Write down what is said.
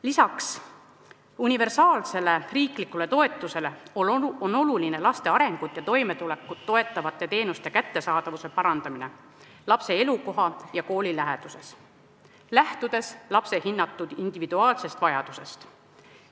Peale universaalse riikliku toetuse on oluline laste arengut ja toimetulekut toetavate teenuste kättesaadavuse parandamine lapse elukoha ja kooli läheduses, lähtudes hinnatud individuaalsest vajadusest.